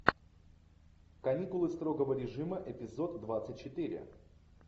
каникулы строгого режима эпизод двадцать четыре